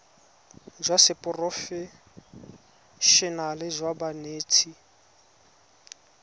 jwa seporofe enale jwa banetshi